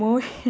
Muito.